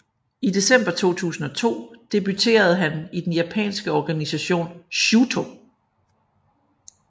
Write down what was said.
I december 2002 debuterede han i den japanske organisation Shooto